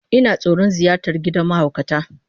Ina tsoron ziyartar gidan mahaukata